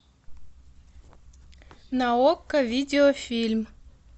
на окко видеофильм